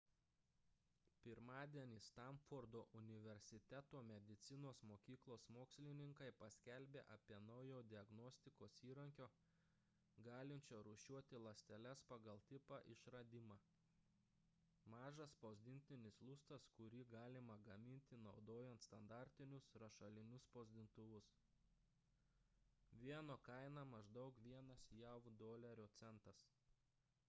pirmadienį stanfordo universiteto medicinos mokyklos mokslininkai paskelbė apie naujo diagnostikos įrankio galinčio rūšiuoti ląsteles pagal tipą išradimą mažas spausdintinis lustas kurį galima gaminti naudojant standartinius rašalinius spausdintuvus vieno kaina maždaug vienas jav dolerio centas